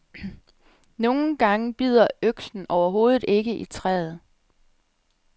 Nogen gange bider øksen overhovedet ikke i træet.